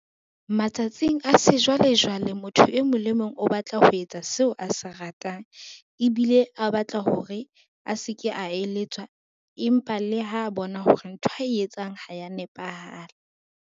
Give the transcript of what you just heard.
Matsatsing a sejwalejwale, motho e mong le mong o batla ho etsa seo a se ratang, ebile a batla hore a se ke a eletswa empa le ha bona hore ntho ae etsang ha ya nepahala.